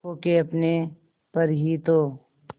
खो के अपने पर ही तो